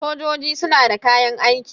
sojoji suna da kayan aiki